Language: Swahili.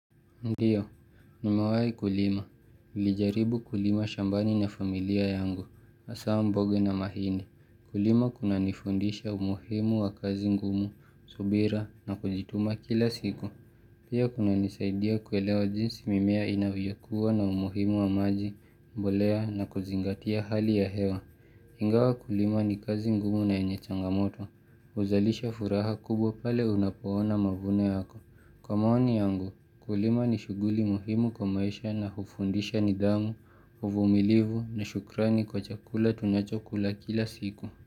Ndiyo, nimewai kulima. niLijaribu kulima shambani na familia yangu, hasa mboga na mahindi. Kulima kuna nifundisha umuhimu wa kazi ngumu, subira na kujituma kila siku. Pia kuna nisaidia kuelewa jinsi mimea inavyokuwa na umuhimu wa maji, mbolea na kuzingatia hali ya hewa. Ingawa kulima ni kazi ngumu na enye changamoto, huzalisha furaha kubwa pale unapoona mavuno yako. Kwa maoni yangu, kulima ni shughuli muhimu kwa maisha na hufundisha nidhamu, uvumilivu na shukrani kwa chakula tunacho kula kila siku.